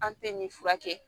An tɛ nin furakɛ